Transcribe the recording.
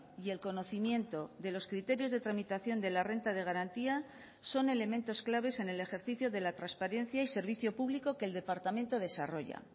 y el conocimiento de los criterios de tramitación de la renta de garantía son elementos claves en el ejercicio de la transparencia y servicio público que el departamento desarrolla